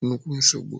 nnukwu nsogbu.